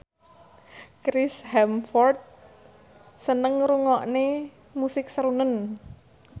Chris Hemsworth seneng ngrungokne musik srunen